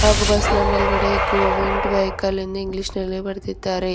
ಹಾಗು ಬಸ್ ನಾ ಮೇಲ್ಗಡೆ ಗೋವೆಂಟ ವೇಹಿಕಲ ಎಂದು ಇಂಗ್ಲಿಷ್ ನಲ್ಲಿ ಬರದಿದ್ದಾರೆ.